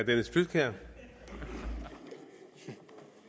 jeg se